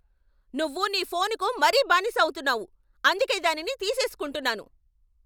నువ్వు నీ ఫోనుకు మరీ బానిస అవుతున్నావు, అందుకే దానిని తీసేస్కుంటున్నాను.